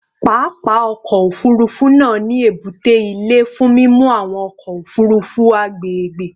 Papa ọkọ ofurufu naa ni ebute ile fun mimu awọn ọkọ ofurufu agbegbe